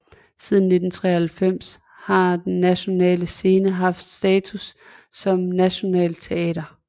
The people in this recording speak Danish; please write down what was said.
Siden 1993 har Den Nationale Scene haft status som nationalt teater